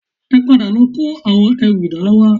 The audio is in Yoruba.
Ẹ padà lọ kó àwọn ẹrù ìdána wá